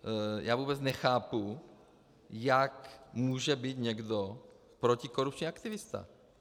Já vůbec nechápu, jak může být někdo protikorupční aktivista.